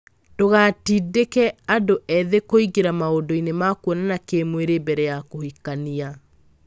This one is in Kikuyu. Ndũgatindĩke andũ ethĩ kũingĩra maundu-inĩ ma kuonana kĩmwĩrĩ mbere ya kũhikania.